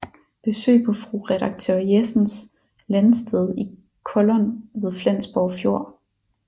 Besøg på fru redaktør Jessens landsted i Kollund ved Flensborg Fjord